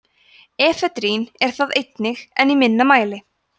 efedrín er það einnig en í minna mæli